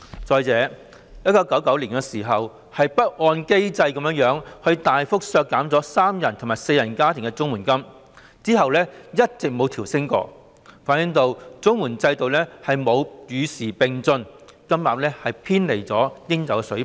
再者，政府曾在1999年不按機制大幅削減三人及四人家庭的綜援金額，其後亦一直沒有調升，這反映了綜援制度並沒有與時並進，金額偏離了應有水平。